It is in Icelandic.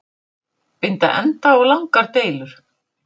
Binda enda á langar deilur